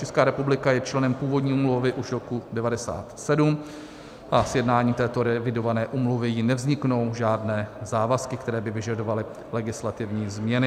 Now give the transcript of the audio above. Česká republika je členem původní úmluvy už roku 1997 a s jednáním této revidované úmluvy jí nevzniknou žádné závazky, které by vyžadovaly legislativní změny.